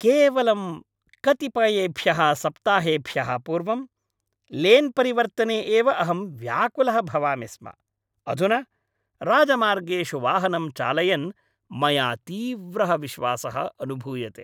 केवलं कतिपयेभ्यः सप्ताहेभ्यः पूर्वं, लेन् परिवर्तने एव अहं व्याकुलः भवामि स्म, अधुना राजमार्गेषु वाहनं चालयन् मया तीव्रः विश्वासः अनुभूयते!